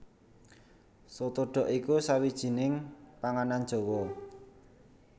Soto dhok iku sawijining panganan Jawa